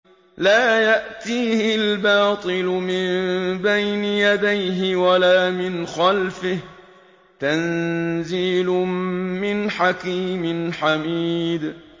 لَّا يَأْتِيهِ الْبَاطِلُ مِن بَيْنِ يَدَيْهِ وَلَا مِنْ خَلْفِهِ ۖ تَنزِيلٌ مِّنْ حَكِيمٍ حَمِيدٍ